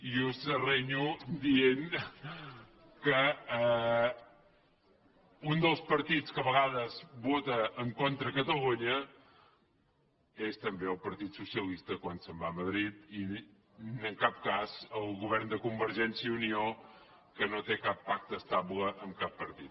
i us renyo dient des vota en contra de catalunya és també el partit socialista quan se’n va a madrid i en cap cas el govern de convergència i unió que no té cap pacte estable amb cap partit